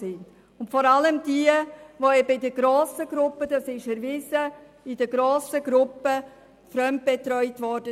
Dazu gehören vor allem Kinder, die in grossen Gruppen fremdbetreut wurden.